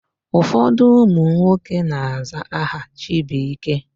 Ụfọdụ ụmụ nwoke na-aza aha Chibuike.